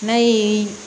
N'a ye